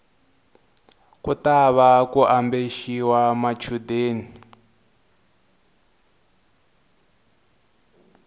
ku tava ku ambexiwa swichundeni